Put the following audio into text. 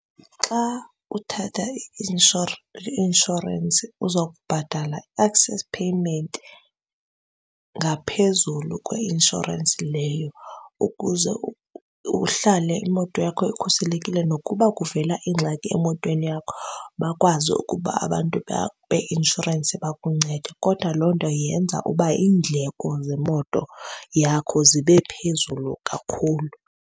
Xa uthatha i-inshorensi uzokubhatala i-access payment ngaphezulu kweinshorensi leyo ukuze uhlale imoto yakho ikhuselekile. Nokuba kuvela ingxaki emotweni yakho bakwazi ukuba abantu beinshorensi bakuncede. Kodwa loo nto yenza ukuba iindleko zemoto yakho zibe phezulu kakhulu.